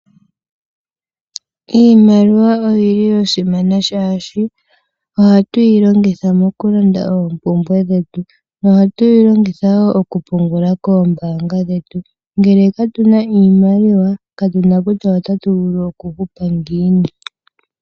Iimaliwa oya simana, oshoka ohatu yi longitha mokulanda oompumbwe dhetu. Ohatu yi longitha wo okupungula koombaanga dhetu. Ngele katu na iimaliwa katu na kutya otatu vulu okuhupa ngiini.